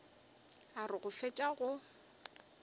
a re go fetša go